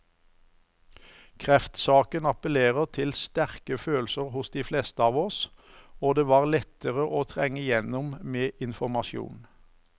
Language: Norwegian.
Kreftsaken appellerer til sterke følelser hos de fleste av oss, og det var lettere å trenge igjennom med informasjon.